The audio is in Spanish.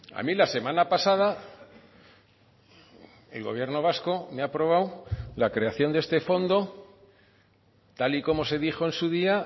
a mí la semana pasada el gobierno vasco me ha aprobado la creación de este fondo tal y como se dijo en su día